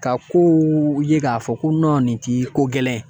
Ka kow ye k'a fɔ ko nin t'i ko gɛlɛn